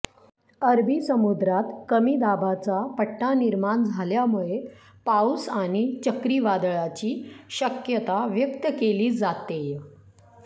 अरबी समुद्रात कमी दाबाचा पट्टा निर्माण झाल्यामुळे पाऊस आणि चक्रीवादळाची शक्यता व्यक्त केली जातेय